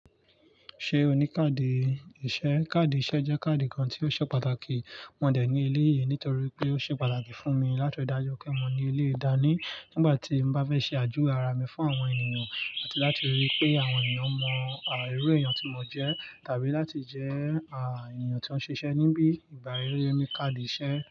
Ṣé o ní káàdì iṣẹ́? Káàdì iṣẹ́ jẹ́ káàdì kan tí ó ṣe pàtàkì mọ̀ dẹ̀ ní ilé yìí nítorí pé ó ṣe pàtàkì fún mi láti ri daju pé mo ní eleyi dani nígbà tí mo bá fẹ́ ṣe àjúwe ara mi fún àwọn ènìyàn àti láti rí pé àwọn ènìyàn mọ irú èèyàn tí mo jẹ́ tàbí láti jẹ́ èèyàn tí ó ń ṣiṣẹ́ níbí. Ìbá ra rẹ mi káàdì iṣẹ́.